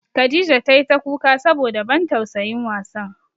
Khadijah tai ta kuka saboda ban tausayin wasan.